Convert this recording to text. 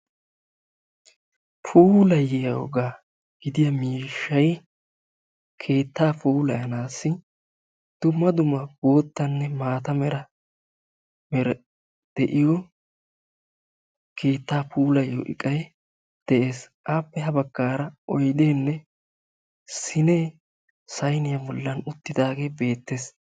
Puuliyyiyooga gidiya keetta puulayanassi dumma dumma boottanne maata mera meray de'iyo keetta puulatyiyo iqqay de'ees. Appe ha baggaara oyddenne sine sayniya bollan uttidaage beettees.